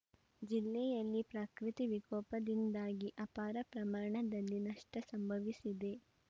ಜಿಲ್ಲೆಯಲ್ಲಿ ಪ್ರಕೃತಿ ವಿಕೋಪದಿಂದಾಗಿ ಅಪಾರ ಪ್ರಮಾಣದಲ್ಲಿ ನಷ್ಟಸಂಭವಿಸಿದೆ